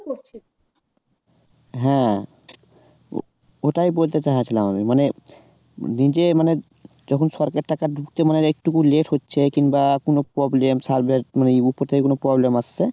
হ্যাঁ ও ওটাই বলতে চাইছিলাম আমি মানে নিজে মানে যখন সরকারী টাকা ঢুকছে মানে একটু late হচ্ছে কিংবা কোনো problem server এ মানে উপর থেকে কোনো problem আসছে